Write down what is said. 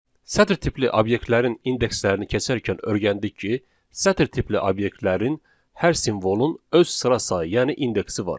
Sətr tipli obyektlərin indekslərini keçərkən öyrəndik ki, sətr tipli obyektlərin hər simvolun öz sıra sayı, yəni indeksi var.